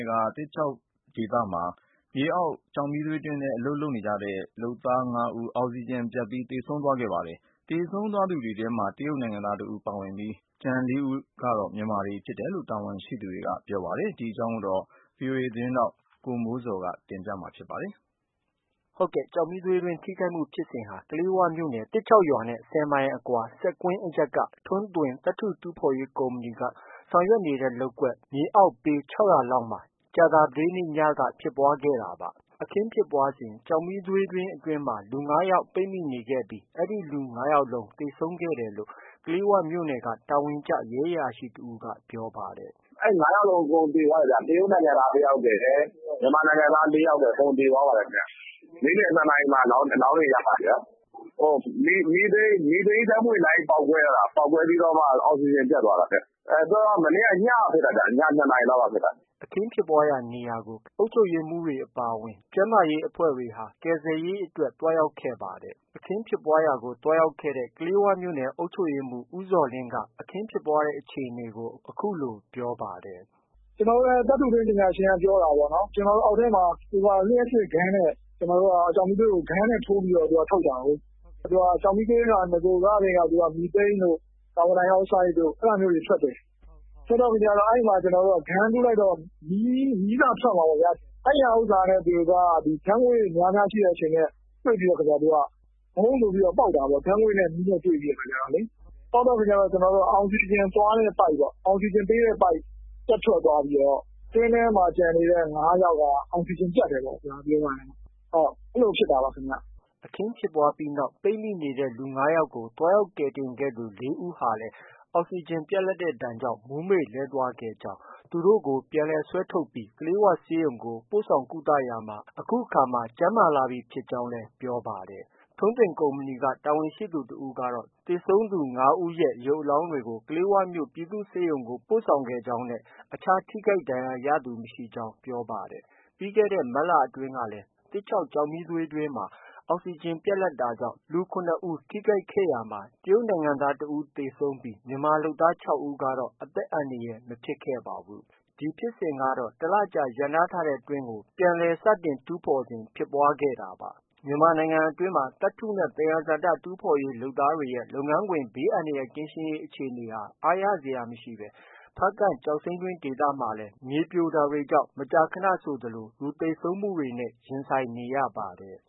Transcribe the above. ယ်က သစ်ချောက်ဒေသရှိ မြေအောက် ကျောက်မီးသွေးတွင်းမှာ အောက်စီဂျင် ပြတ်တာကြောင့် အလုပ်လုပ်ကိုင်နေသူ လုပ်သား ၅ ဦး သေဆုံးခဲ့ပါတယ်။ သေဆုံးသူတွေထဲမှာ တရုတ်နိုင်ငံသားတဦးနဲ့ မြန်မာလုပ်သား ၄ ဦးဖြစ်တယ်လို့ တာဝန်ရှိသူတွေက ပြောပါတယ်။ ဒီသတင်းကို ဗွီအိုအေ မြန်မာပိုင်းသတင်းထောက် ကိုမိုးဇော်က တင်ပြထားပါတယ်။ ကျောက်မီးသွေးတွင်းထိခိုက်မှုဖြစ်စဉ်ဟာ ကလေးဝမြို့နယ်က သစ်ချောက်ရွာနဲ့ ၁၀ မိုင်အကွာ စက်ကွင်းအရပ် က ထွန်းသွင် သတ္တုထူးဖော်ရေးကုမ္ပဏီ ဆောင် ရွက်နေတဲ့ လုပ်ကွက် မြေအောက်ပေ ၆၀၀ လောက်မှာ ကြာသပတေးနေ့ညက ဖြစ်ပွားခဲ့တာဖြစ်ပါတယ်။ အခင်းဖြစ်ပွားစဉ် ကျောက်မီးသွေးတွင်းအတွင်းမှာ လူ ၅ ယောက်ပိတ်မိနေခဲ့ပြီး အဲဒီလူ ၅ ယောက်သေဆုံး ခဲ့တယ် လို့ ကလေးဝမြို့နယ်က တာဝန်ကျ ရဲ အရာရှိ က ပြောပါတယ်။ “အဲဒီ ၅ ယောက်လုံး အကုန်သေသွားတယ်ဗျ။ တရုတ်နိုင်ငံသားတယောက်ရယ်။ မြန်မာနိုင်ငံသား ၄ ယောက် ရယ် အကုန်သေသွားပါတယ်ခင်ဗျ။ နေ့လည် ၂ နာရီ မှာ အလောင်းတွေ ရပါတယ်ခင်ဗျ။ မီသိန်းဓါတ်ငွေ့လိုင်း ပေါက်ကွဲတာ။ ပေါက်ကွဲ ပြီးတော့မှ အောက်စီဂျင်ပြတ်သွားတာ။ မနေ့က ညကဖြစ်တာဗျ။ ည ၂ နာရီ လောက်က ဖြစ်တာ။” အခင်းဖြစ်ပွားရာနေရာကို ခရိုင်နဲ့ မြို့နယ်က အုပ်ချုပ်ရေးမှူးတွေအပါအဝင် ကျန်း မာရေးအဖွဲ့တွေဟာ ကူညီ ကယ်ဆယ်ရေးအတွက် သွားရောက်ခဲ့ပါတယ်။ အခင်းဖြစ်ပွားရာကို သွားရောက်ခဲ့တဲ့ ကလေး၀ မြို့နယ်အုပ်ချုပ်ရေးမှူး ဦးဇော်လင်းက အခင်းဖြစ်ပွားတဲ့ အခြေအနေကို အခုလို ပြောပါတယ်။ “ကျနော်တို့ သတ္တုတွင်းပညာရှင်က ပြောတာပေါ့နော်။ အောက်ထဲမှာ လျှပ်စစ် gun နဲ့ ကျောက်မီးသွေးကို gun နဲ့ ထိုးပြီးထုတ်တာကိုး။ ကျောက်မီးသွေးက နဂို ကကတည်းက မီသိန်းတို့ ကာဗွန်ဒိုင် အောက်ဆိုဒ်တို့ အဲဒါ မျိုးတွေ ထွက်တယ်။ ထွက်တော့ အဲဒီမှာ gun ထိုးလိုက်တော့ မီးစထွက်မှာပေါ့ဗျာ။ အဲဒီဥစ္စာနဲ့ ဓါတ်ငွေ့ များများ ထွက်တာနဲ့တွေ့ပြီးတော့ ဝုန်းဆိုပြီးပေါက်တာပေါ့။ ဓါတ်ငွေ့နဲ့မီးနဲ့တွေ့ပြီး ပေါက်တဲ့အခါကျတော့ အောက်စီဂျင် သွားတဲ့ပိုက် အောက်စီဂျင်ပေးတဲ့ပိုက် ပြတ် ထွက်သွားပြီးတော့ တွင်းထဲမှာကျန်နေတဲ့ ၅ ယောက်က အောက်စီဂျင် ပြတ်တယ် ပေါ့ဗျာ။ အဲလိုဖြစ်တာပါခင်ဗျ။ ” ပေါက်ကွဲမှုဖြစ်ပြီးနောက် ကျန်ရှိနေသူ ၅ ယောက်ကို သွားရောက်ကယ်တင်ခဲ့သူ ၄ ဦးဟာလည်း အောက်စီဂျင် ပြတ်တဲ့ဒဏ်ကြောင့် မူးမေ့လဲကျသွားခဲ့ကြောင်း၊ သူ တို့ကို ပြန်ဆွဲထုတ်ပြီး ကလေးဝဆေးရုံကို ပို့ဆောင် ကုသရာမှာ ပြန်လည် ကျန်းမာ လာပြီဖြစ်ကြောင်းလည်း ပြောပါတယ်။ ထွန်းသွင်ကုမ္ပဏီက တာဝန်ရှိသူတဦးကတော့ သေဆုံးသွားသူ ၅ ဦးရဲ့ ရုပ် အလောင်းတွေကို ကလေးဝမြို့ ပြည်သူ့ဆေးရုံကို ပို့ဆောင်ခဲ့ကြောင်းနဲ့ အခြား ထိခိုက်ဒဏ်ရာရသူမရှိကြောင်း ပြောပါတယ်။ ပြီးခဲ့တဲ့မတ်လအတွင်းကလည်း သစ်ချောက်ကျောက်မီးသွေးတွင်းမှာ အောက် စီဂျင် ပြတ်လပ်တာကြောင့် လူ ၇ ဦး ထိခိုက်ခဲ့ရာမှာ တရုတ်နိုင်ငံသား တဦး သေဆုံးခဲ့ပြီး မြန်မာလုပ်သား ၆ ဦးကတော့ အသက်အန္တရာယ် မဖြစ်ခဲ့ပါဘူး။ ဒီဖြစ်စဉ်ကတော့ တလကြာရပ်နားထားတဲ့တွင်းကို ပြန်လည်စတင် တူးဖော် စဉ်ဖြစ်ပွားခဲ့တာ ဖြစ်ပါတယ်။ မြန်မာပြည်တွင်း သတ္တုနဲ့ သယံဇာတတူးဖော်ရေးလုပ်သားတွေရဲ့ လုပ်ငန်းခွင် ဘေးအန္တရာယ်ကင်းရှင်းရေး အခြေအနေက အားရစရာမရှိဘဲ ဖားကန့် ကျောက်စိမ်း တွင်းတွေမှာလည်း မြေပြိုတာကြောင့်မကြာခဏ လူသေဆုံးမှုတွေနဲ့ ရင်ဆိုင်နေရပါတယ်